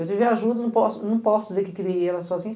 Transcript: Eu tive ajuda, não posso, não posso dizer que criei elas sozinha.